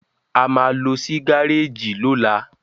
a má ló sì Gáréèjì lola